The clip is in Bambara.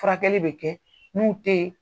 Furakɛli bɛ kɛ, n'u tɛ yen